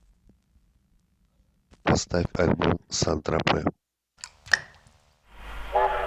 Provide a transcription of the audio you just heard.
поставь альбом сан тропе